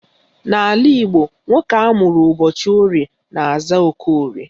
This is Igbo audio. N'ala Igbo, nwoke amụrụ ụbọchị Orie na-aza Okorie